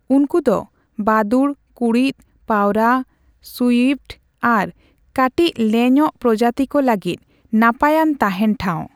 ᱩᱱᱠᱩ ᱫᱚ ᱵᱟᱫᱩᱲ, ᱠᱩᱬᱤᱫ, ᱯᱟᱣᱨᱟ, ᱥᱩᱭᱤᱯᱷᱴ ᱟᱨ ᱠᱟᱴᱤᱪ ᱞᱮᱧᱚᱼᱜ ᱯᱨᱚᱡᱟᱛᱤ ᱠᱚ ᱞᱟᱹᱜᱤᱫ ᱱᱟᱯᱟᱭᱟᱱ ᱛᱟᱸᱦᱮᱱ ᱴᱷᱟᱣ ᱾